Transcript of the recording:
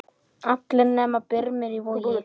Allir nema Brimar í Vogi.